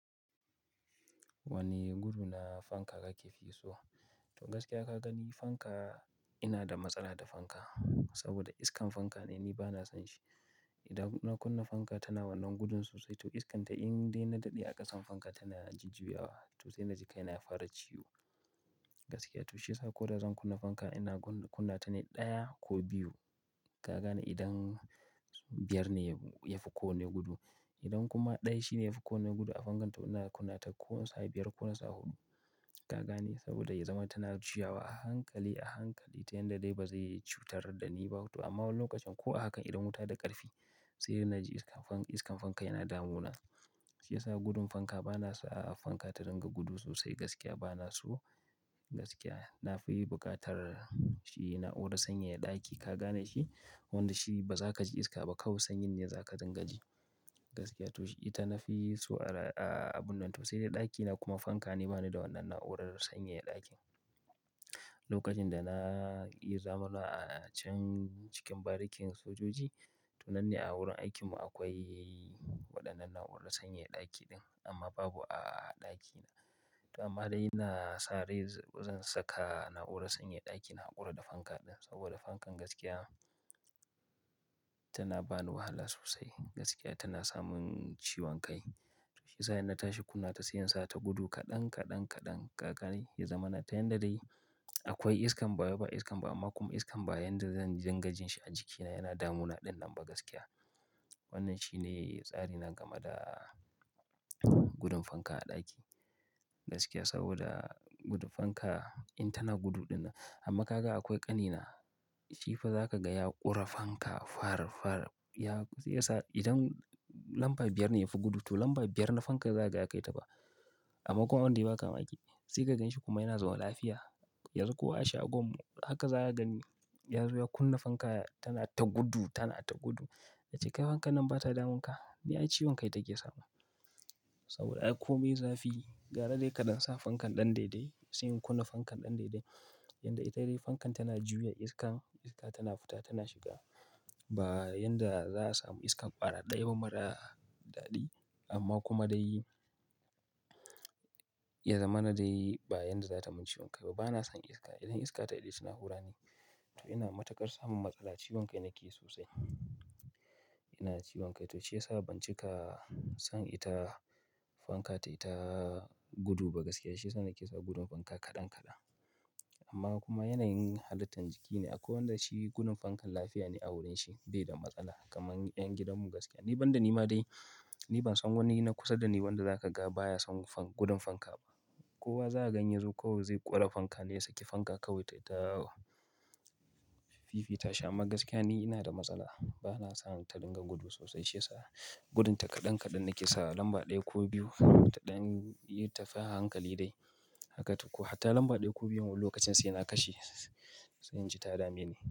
Wani gudu na fanka kake fi so? To gaskiya ka gani fanka, ina da matsala da fanka. Saboda iskan fanka ne ni ba na son shi. Idan na kunna fanka tana wannan gudun sosai to iskanta in dai na daɗe a ƙasan fanka tana jujjiyawa to sai na ji kai na fara ciwo. Gaskiya to shi ya sa ko da zan kunna fanka ina kunna ta ne ɗaya ko biyu. Ka gane idan biyar ne ya fi ko wane gudu. Idan kuma ɗaya shi ne ya fi ko wane gudu a fankan to ina kunna ta ko na sa biyar ko nasa huɗu. Ka gane saboda ya zama tana juyawa a hankali, a hankali ta yanda dai ba zai cutar da ni ba, to amma wani lokacin ko a haka idan wuta da ƙarfi sai na ji iskan fanka yana damuna. Shi ya sa gudun fanka ba na so a fanka ta dinga gudu sosai gaskiya ba na so gaskiya. Na fi buƙatar shi na na'urar sanyaya ɗaki ka gane shi? Wanda shi ba za ka ji iska ba kawai sanyin ne za ka dinga ji. Gaskiya to ita na fi so a abun nan to sai dai ɗakina kuma fanka ne ba ni da wannan na'urar sanyaya ɗakin. Lokacin da ya zamana a can cikin barikin sojoji to nan ne a wurin aikin mu akwai waɗannan na'urar sanyaya ɗaki ɗin amma babu a ɗakina. To amma dai ina sare zan saka na'urar sanyaya ɗaki na haƙura da fanka ɗin saboda fankan gaskiya tana bani wahala sosai. Gaskiya tana samin ciwon kai. Sai sa in na tashi kunna ta sai in sa ta gudu kaɗan, kaɗan, kaɗan ka gane ya zama na ta yanda dai akwai iskan ba wai ba iskan ba amma kuma iskan ba ya yanda zan dinga jin shi a jiki na ya na damuna ɗinnan ba gaskiya. Wannan shi ne tsari na game da gudun fanka a ɗaki. Gaskiya saboda gudun fanka in tana gudu ɗin nan, amma ka ga akwai ƙanina shi fa za ka gaya ƙure fanka far, far. Ya, shi ya sa idan lamba biyar ne ya fi gudu to lamba biyar na fanka za ka gaya kai taɓa. Amma kuma abun da zai ba ka mamaki sai ka gan shi kuma yana zaune lafiya, yanzu ko a shagon mu haka za ka gani. Yanzo ya kunna fanka tana ta gudu, tana ta gudu. Ce kai fankan nan ba ta damun ka? Ni ai ciwon kai take samu. Saboda akwai kome zafi gara dai kaɗan sa fankan ɗan daidai sai ka kunna fankan ɗan daidai. Yanda ita ce dai fankan tana juya iskan, iska tana fita tana shiga. Ba yanda za a samu iskan ɓara ɗaya ba mara daɗi amma kuma dai ya zama na dai ba yanda za ta min ciwon kai ba. Ba na son iska. Idan iska ta daɗe ta na hura ne. To ina matuƙar samun matsala, ciwon kai nake sosai. Ina ciwon kai to shi ya sa ban cika son ita fanka tai ta gudu ba gaskiya. Shi ya sa nake sa gudun fanka kaɗan kaɗan. Amma kuma yanayin halittan jiki ne. Akwai wanda shi gudun fankan lafiya ne a wurin shi bai da matsala kamar ƴan gidanmu gaskiya. Ni banda ni ma dai ni ban san wani na kusa da ni wanda za ka ga baya son gudun fanka ba. Kowa za ka gani yazo kawai zai ƙore fanka ne sai ki fanka kawai tai ta fiifi ta shi amma gaskiya ni ina da matsala. Ba na son ta dinga gudu sosai shi ya sa gudun ta kaɗan kaɗan nake sawa lamba ɗaya ko biyu ta ɗan biyu ta fi a hankali dai. Haka ko hatta lamba ɗaya ko biyu lokacin sai na kashe sai in ji ta dame ni.